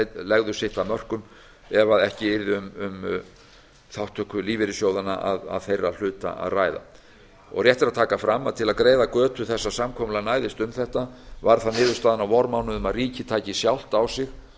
legðu sitt af mörkum ef ekki yrði um þátttöku lífeyrissjóðanna að þeirra hluta að ræða rétt er að taka fram að til að greiða götu þess að samkomulag næðist um þetta varð niðurstaðan á vormánuðum að ríkið tæki sjálft á sig